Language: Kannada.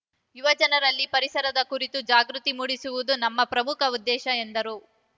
ಯುವಜನರಲ್ಲಿ ಪರಿಸರದ ಕುರಿತು ಜಾಗೃತಿ ಮೂಡಿಸುವುದು ನಮ್ಮ ಪ್ರಮುಖ ಉದ್ದೇಶ ಎಂದರು